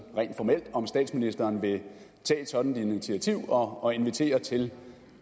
rent formelt om statsministeren vil tage et sådant initiativ og invitere til